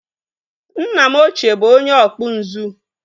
Nna m ochie bụ onye ọkpụ nzu